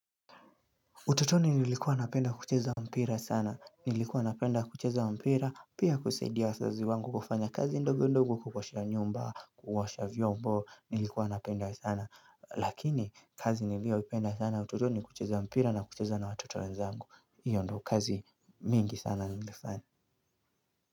Utotoni nilikuwa napenda kucheza mpira sana, nilikuwa napenda kucheza mpira, pia kusaidia wazazi wangu kufanya kazi ndogo ndogo kuosha nyomba, kuosha vyombo, nilikuwa napenda sana, lakini kazi nilioipenda sana utotoni kucheza mpira na kucheza na watoto wenzangu, hiyo ndo kazi mingi sana nilifanya.